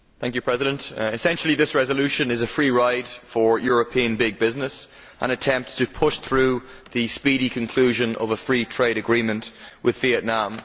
Mr President, essentially this resolution is a free ride for European big business and an attempt to push through the speedy conclusion of a free trade agreement with Vietnam.